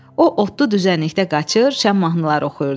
O otlu düzənlikdə qaçır, şən mahnıları oxuyurdu.